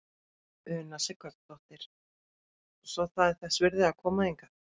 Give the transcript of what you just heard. Una Sighvatsdóttir: Svo það er þess virði að koma hingað?